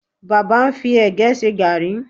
Baba ń fi ẹ̀gẹ́ ṣe gààrí